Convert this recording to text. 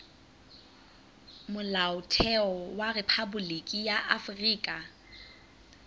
molaotheo wa rephaboliki ya afrika